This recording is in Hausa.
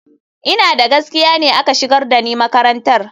Ina da gaskiya ne aka shigar da ni makarantar.